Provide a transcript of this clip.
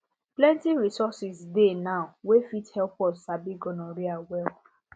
plenty resources dey now wey fit help us sabi gonorrhea well